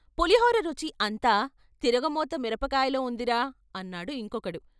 పులిహోర రుచి అంతా తిరగమోత మిరపకాయలో ఉందిరా అన్నాడు ఇంకొకడు.